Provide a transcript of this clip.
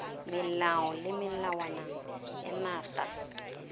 melao le melawana ya naga